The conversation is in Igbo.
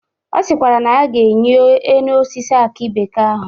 Ọ sịkwara na ya ga-enyi enu osisi akị bekee ahụ.